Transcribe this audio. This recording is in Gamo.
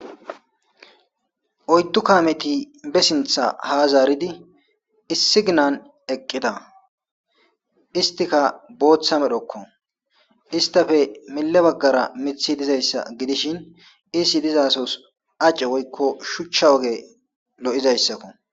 oyddu kameti be sintha ha zaaridi issi ginan eqqita istika booththa medhokko istafe mille baggara mithi dizayssa gidishin isi dizaa sohon woykko shuchcha woge lo7izayssakko